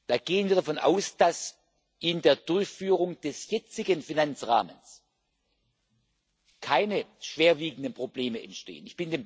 Da gehen wir davon aus, dass in der Durchführung des jetzigen Finanzrahmens keine schwerwiegenden Probleme entstehen.